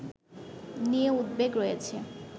নিয়ে উদ্বেগ রয়েছে